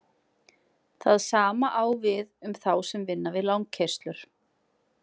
Það sama á við um þá sem vinna við langkeyrslur.